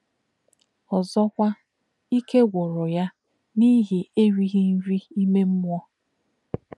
Ọ́zọ̀kwà̄, íkè̄ gwù̄rù̄ yá̄ n’íhì̄ èrì̄ghí̄ nrí̄ ímè̄ mmú̄ọ̄.